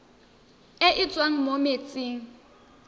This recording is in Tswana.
e e tswang mo metsing